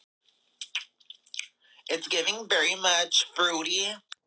Sigurgísli, hvað geturðu sagt mér um veðrið?